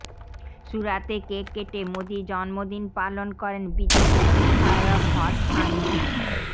সুরাতে কেক কেটে মোদির জন্মদিন পালন করেন বিজেপি বিধায়ক হর্ষ সাঙ্গভি